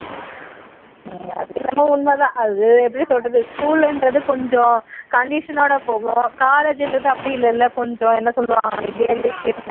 அது என்னவோ உண்மை தான் அது எப்படி சொல்றது school ங்கிறது கொஞ்சம் condition ஓட போகும் college ங்கிறது அப்படி இல்லை இல்லை என்ன சொல்லுவாங்க